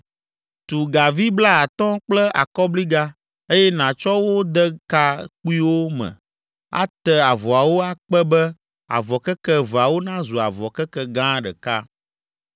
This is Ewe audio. Tu gavi blaatɔ̃ kple akɔbliga, eye nàtsɔ wo de ka kpuiwo me ate avɔawo akpe be avɔ keke eveawo nazu avɔ keke gã ɖeka.